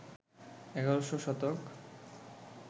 ১১শ শতক